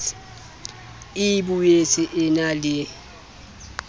e boetsa e na le